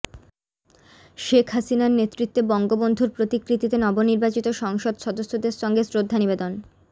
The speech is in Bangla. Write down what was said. শেখ হাসিনার নেতৃত্বে বঙ্গবন্ধুর প্রতিকৃতিতে নবনির্বাচিত সংসদ সদস্যদের সঙ্গে শ্রদ্ধা নিবেদন